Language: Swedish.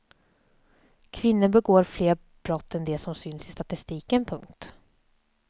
Kvinnor begår fler brott än de som syns i statistiken. punkt